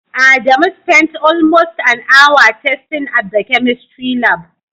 Adamu spent almost an hour testing at the chemistry lab.